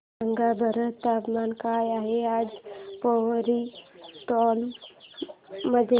सांगा बरं तापमान काय आहे आज पोवरी टोला मध्ये